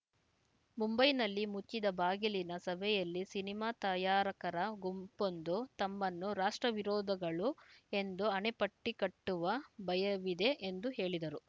ಮುಂಬೈನಲ್ಲಿ ಮುಚ್ಚಿದ ಬಾಗಿಲಿನ ಸಭೆಯಲ್ಲಿ ಸಿನಿಮಾ ತಯಾರಕರ ಗುಂಪೊಂದು ತಮ್ಮನ್ನು ರಾಷ್ಟ್ರವಿರೋದಗಳು ಎಂದು ಹಣೆಪಟ್ಟಿಕಟ್ಟುವ ಭಯವಿದೆ ಎಂದು ಹೇಳಿದರು